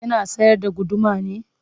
Yana sayar da guduma ne?